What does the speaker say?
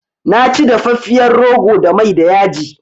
Na ci dafafiyar rogo da mai da yaji